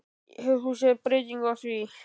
Hefur þú séð breytingu á því?